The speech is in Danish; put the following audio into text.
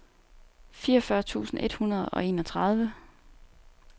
fireogfyrre tusind et hundrede og enogtredive